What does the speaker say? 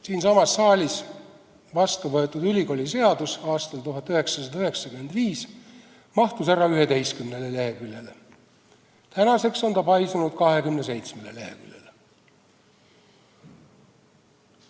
Siinsamas saalis aastal 1995 vastu võetud ülikooliseadus mahtus ära 11 leheküljele, tänaseks on ta paisunud 27 leheküljele.